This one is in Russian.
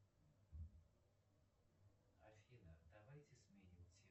афина давайте сменим тему